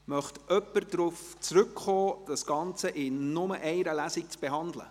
Möchte jemand darauf zurückkommen, das Ganze in nur einer Lesung zu behandeln?